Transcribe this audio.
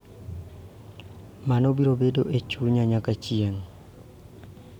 Mano biro bedo e chunya nyaka chieng�.